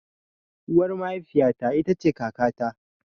Uwar mahafiya ta ita ce kaka ta.